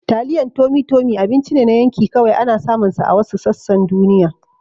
Taliyan Tummy Tummy abinci ne na yanki, kawai ana samunsa a wasu sassan duniya